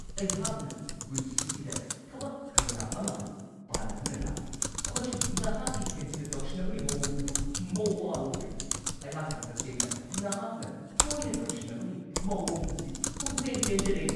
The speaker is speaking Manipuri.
ꯑꯩꯍꯥꯛꯅ ꯄꯨꯟꯁꯤꯁꯤꯗ ꯊꯕꯛ ꯀꯌꯥ ꯑꯃ ꯄꯥꯟꯅꯗꯨꯅ ꯂꯥꯛꯂꯤ ꯑꯃꯁꯨꯡ ꯅꯍꯥꯛꯀꯤ ꯍꯦꯟꯖꯤꯟꯅ ꯇꯧꯁꯤꯟꯅꯕꯒꯤ ꯃꯋꯣꯡ ꯑꯗꯨ ꯃꯋꯥ ꯂꯧꯗꯦ ꯫ ꯑꯩꯍꯥꯛꯅ ꯇꯁꯦꯡꯅ ꯅꯍꯥꯛꯅ ꯇꯣꯏꯅ ꯇꯧꯁꯤꯟꯅꯕꯒꯤ ꯃꯋꯣꯡ ꯑꯁꯤ ꯄꯨꯡꯄꯦꯟ-ꯄꯦꯟꯖꯔꯦ ꯫